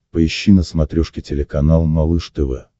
поищи на смотрешке телеканал малыш тв